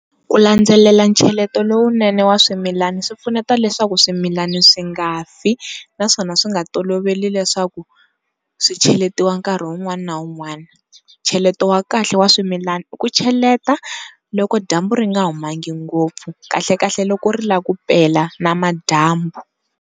Ku landzelela ncheleto lowunene wa swimilana swi pfuneta leswaku swimilana swi nga fi naswona swi nga toloveli leswaku swi cheletiwa nkarhi wun'wana na wun'wana, ncheleto wa kahle wa swimilana i ku cheleta loko dyambu ri nga humanga ngopfu kahlekahle loko ri lava ku pela namadyambu.